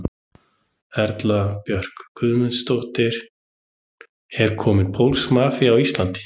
Erla Björg Gunnarsdóttir: Er komin pólsk mafía á Íslandi?